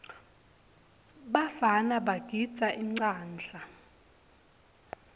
bafana bagidza inqadla